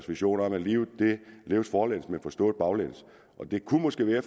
vision om at livet leves forlæns men forstås baglæns og det kunne måske være at